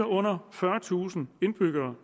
under fyrretusind indbyggere